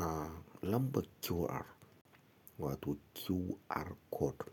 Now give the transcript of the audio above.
Ah, lambar QR wato QR code.